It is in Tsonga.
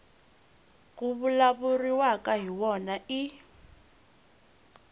ku vulavuriwaka hi wona i